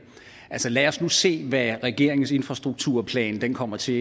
lad os nu se hvad regeringens infrastrukturplan kommer til